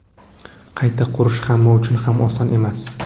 Qayta qurish hamma uchun ham oson emas.